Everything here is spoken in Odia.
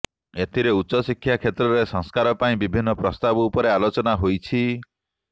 ଏଥିରେ ଉଚ୍ଚଶିକ୍ଷା କ୍ଷେତ୍ରରେ ସଂସ୍କାର ପାଇଁ ବିଭିନ୍ନ ପ୍ରସ୍ତାବ ଉପରେ ଆଲୋଚନା ହୋଇଛି